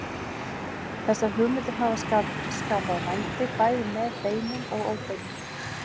Þessar hugmyndir hafa skapað vændi bæði með beinum og óbeinum hætti.